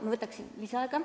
Ma võtaksin lisaaega.